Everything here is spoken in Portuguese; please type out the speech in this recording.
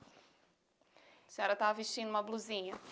A senhora estava vestindo uma blusinha.